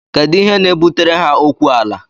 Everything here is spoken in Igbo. Kedu ihe na-ebutere ha okwu ala?